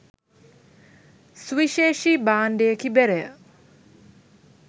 සුවිශේෂී භාණ්ඩයකි බෙරය.